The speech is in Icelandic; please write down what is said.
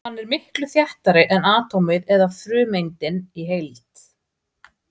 Hann er miklu þéttari en atómið eða frumeindin í heild.